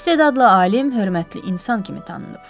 İstedadlı alim, hörmətli insan kimi tanınıb.